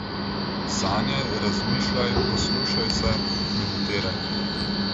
Sanjaj, razmišljaj, poslušaj se, meditiraj.